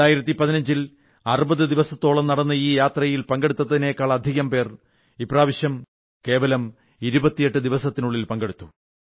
2015 ൽ 60 ദിവസങ്ങളോളം നടന്ന ഈ യാത്രയിൽ പങ്കെടുത്തതിനേക്കാളധികം പേർ ഇപ്രാവശ്യം കേവലം 28 ദിവസത്തിൽ പങ്കെടുത്തു